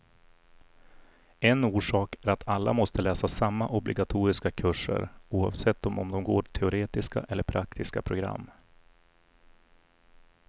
En orsak är att alla måste läsa samma obligatoriska kurser, oavsett om de går teoretiska eller praktiska program.